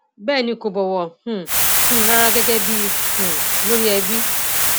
bẹẹ ni kò bọwọ um fún mi rárá gẹgẹ bíi um olórí ẹbí